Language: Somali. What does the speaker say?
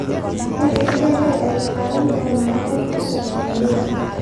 intee in le'eg ayuu qaadan doonaa tareenka u socda nairobi?